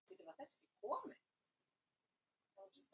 Lífið beið með öllum sínum fyrirheitum.